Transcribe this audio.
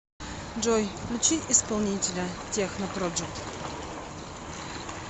джой включи исполнителя техно проджект